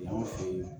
Anw fɛ yen